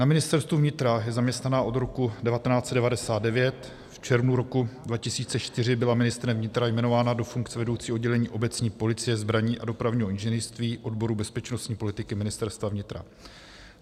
Na Ministerstvu vnitra je zaměstnaná od roku 1999, v červnu roku 2004 byla ministrem vnitra jmenována do funkce vedoucí oddělení obecní policie, zbraní a dopravního inženýrství odboru bezpečnostní politiky Ministerstva vnitra.